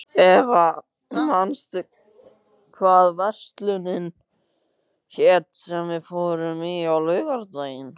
Eva, manstu hvað verslunin hét sem við fórum í á laugardaginn?